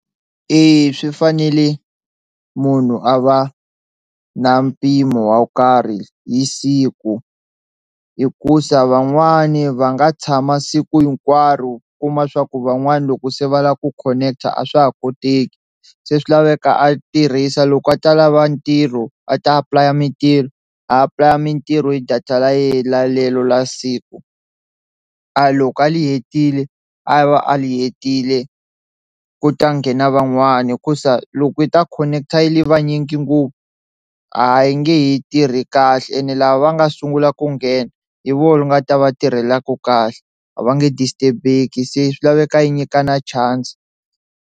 Eya swi fanele munhu a va na mpimo wo karhi hi siku hikuza van'wani va nga tshama siku hinkwaro u kuma swa ku van'wana loko se va lava ku connect-a a swa ha koteki se swi laveka a tirhisa loko a ta lava ntirho a ta apulaya mintirho a apulaya mintirho hi data ra ye la lelo la siku, a loko a li hetile a va a ri hetile ku ta nghena van'wani hikusa loko yi ta connect-a yi va yinyingi ngopfu a yi nge he tirhi kahle ene lava va nga sungula ku nghena hi vona yi nga ta va tirhelaku kahle a va nge disturb-eki se swi laveka yi nyikana chance.